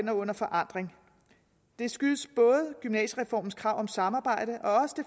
er under forandring det skyldes både gymnasiereformens krav om samarbejde og